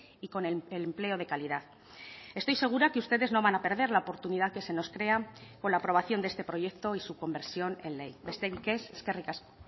y con el empleo de calidad estoy segura que ustedes no van a perder la oportunidad que se nos crea con la aprobación de este proyecto y su conversión en ley besterik ez eskerrik asko